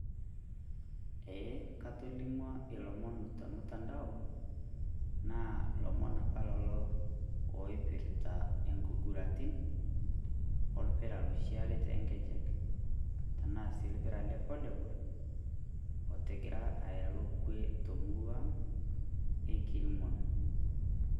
ee katolimuoo iloomon te mtendao naa loomon apa lelo oipirita enkiguraritin olpira ooloshi oori tonkejek enaa sii olpira le volleyball otigira aaku kwe temurua ang le kirmon